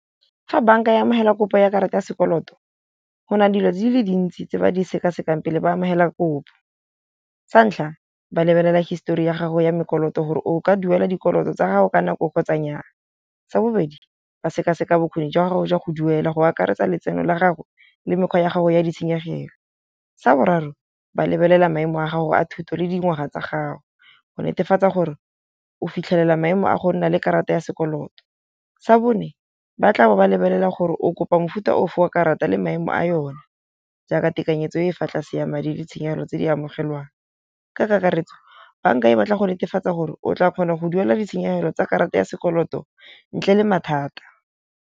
Fa banka ya amogela kopo ya karata ya sekoloto go na le dilo di le dintsi tse ba di sekasekang pele ba amogela kopo. Sa ntlha, ba lebelela histori ya gago ya mekoloto gore o ka duela dikoloto tsa gago ka nako kgotsa nyaa. Sa bobedi, ba sekaseka bokgoni jwa gago jwa go duela go akaretsa letseno la gago le mekgwa ya gago ya ditshenyegelo. Sa boraro, ba lebelela maemo a gago a thuto le dingwaga tsa gago go netefatsa gore o fitlhelela maemo a go nna le karata ya sekoloto. Sa bone, ba tla be ba lebelela gore o kopa mofuta o fe wa karata le maemo a yone, jaaka tekanyetso e fa tlase ya madi le tshenyegelo tse di amogelwang. Ka kakaretso banka e batla go netefatsa gore o tla kgona go duela ditshenyegelo tsa karata ya sekoloto ntle le mathata.